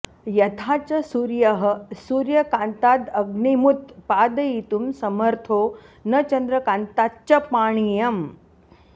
यथा च सूर्यः सूर्यकान्तादग्निमुत्पादयितुं समर्थो न चन्द्रकान्ताच्च पानीयम्